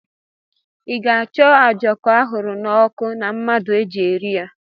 Ị ga-acho a ojoko ahuru na oku na mmadu eji eri ya?